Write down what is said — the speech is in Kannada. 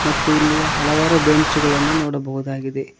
ಮತ್ತು ಇಲ್ಲಿ ಹಲವಾರು ಬೆಂಚುಗಳನ್ನು ನೋಡಬಹುದಾಗಿದೆ.